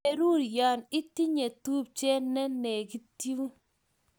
Berur ya itinye tupche ne lekitun